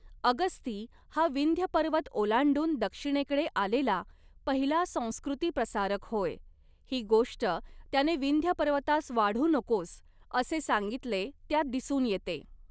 अगस्ती हा विंध्यपर्वत ओलांडून दक्षिणेकडे आलेला पहिला संस्कृतिप्रसारक होय, ही गोष्ट त्याने विंध्यपर्वतास वाढू नकोस, असे सांगितले त्यात दिसून येते.